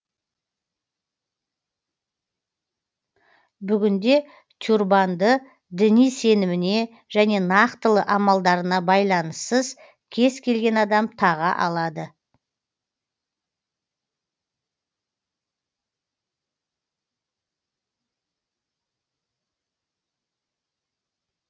бүгінде тюрбанды діни сеніміне және нақтылы амалдарына байланыссыз кез келген адам таға алады